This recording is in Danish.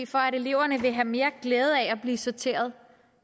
for at eleverne vil have mere glæde af at blive sorteret